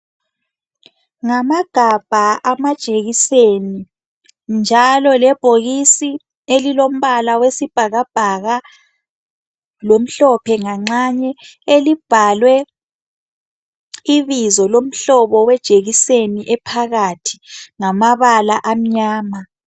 Ngamagabha amajekiseni njalo lebhokisi elilombala wesibhakabhaka lomhlophe nganxanye elibhalwe ibizo lomhlobo wejekiseni ephakathi ngamabala amnyama.